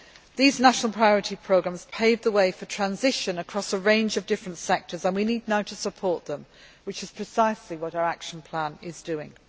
These national priority programmes paved the way for transition across a range of different sectors and we need now to support them, which is precisely what our action plan is doing.